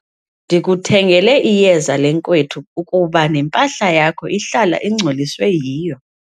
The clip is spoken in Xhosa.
Ndikuthengele iyeza lenkwethu ukuba nempahla yakho ihlala ingcoliswe yiyo.